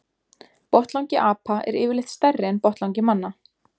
Botnlangi apa er yfirleitt stærri en botnlangi manna.